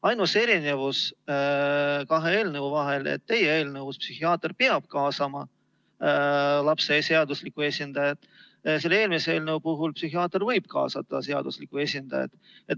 Ainus erinevus kahe eelnõu vahel on see, et teie eelnõus peab psühhiaater kaasama lapse seadusliku esindaja, kuid selle eelmise eelnõu puhul psühhiaater võib kaasata seadusliku esindaja.